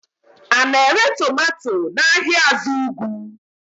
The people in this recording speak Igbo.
A na-ere tomato n'ahịa azugwu?